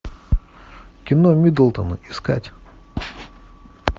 кино мидлтон искать